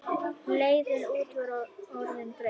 Leiðin út var orðin greið.